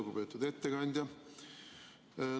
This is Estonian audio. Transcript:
Lugupeetud ettekandja!